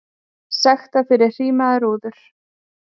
Sektaðir fyrir hrímaðar rúður